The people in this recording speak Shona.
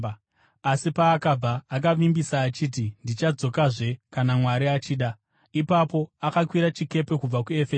Asi paakabva, akavimbisa achiti, “Ndichadzokazve kana Mwari achida.” Ipapo akakwira chikepe kubva kuEfeso.